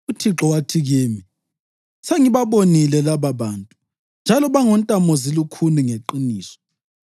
UThixo wathi kimi, ‘Sengibabonile lababantu, njalo bangontamozilukhuni ngeqiniso!